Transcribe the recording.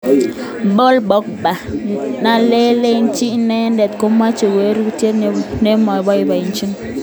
Paul Pogba: Netelechin inendet komoche walutiet neboiboichin.